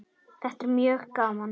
Þetta er mjög gaman.